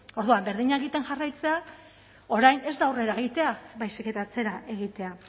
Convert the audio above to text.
orduan berdina egiten jarraitzeak orain ez da aurrera egitea baizik eta atzera egitea